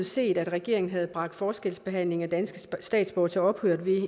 set at regeringen havde bragt forskelsbehandlingen af danske statsborgere til ophør